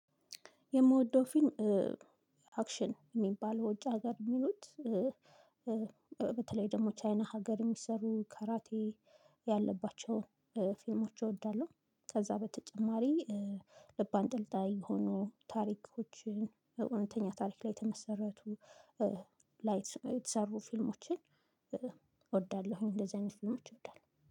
የምወደው ፊልም አክሽን የሚባል ወጪ ሀገር የሚሉት በተለይ ደግሞ ቻይና ሀገር የሚሰሩ ካራቴ ያለባቸውን ፊልሞች እወዳለሁ። ከዛ በተጨማሪ ልብ አንጠልጣይ የሆኑ ታሪኮችን እውነተኛ ታሪክ ላይ የተመሰረቱ ላይ የተሰሩ ፊልሞችን። እወዳለሁኝ እንደዚህ አይነት ፊልሞች እወዳለሁ